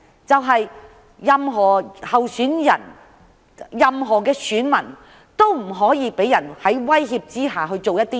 就是希望任何候選人和選民都不會被威脅做某些事。